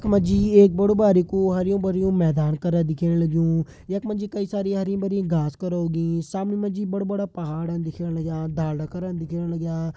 यख मा जी एक बड़ु बारिकु मैदान करा दिखेण लग्युं यख मा जी कई सारी हरी भरी घास करा उगीं सामने मा जी बड़ा बड़ा पहाड़न दिखेण लग्यां ढालदा करा दिखेण लग्यां।